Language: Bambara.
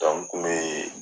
n kun bɛ